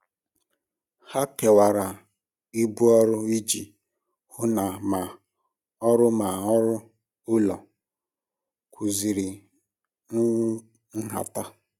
Ha kewara ibu ọrụ iji hụ na ma ọrụ ma ọrụ ụlọ kwụziri nhata.